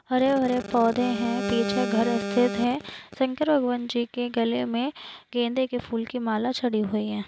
हरे हरे पौधे है पिछे घर है शंकर भगवानजीके गले मे गेंदे की फूल की माला चडी हुई है।